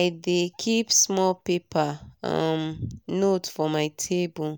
i dey keep small paper um note for my table